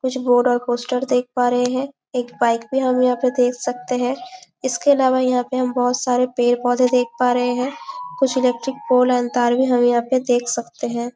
कुछ बोर्ड और पोस्टर देख पा रहे है एक बाइक भी हम यहाँ पे देख सकते है इसके अलावा यहाँ पे हम बहुत सारे पेड़ - पौधे देख पा रहे है कुछ इलेक्ट्रिक पोल एंड तार भी हम यहाँ पे देख सकते है।